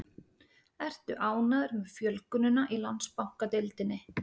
Ertu ánægður með fjölgunina í Landsbankadeildinni?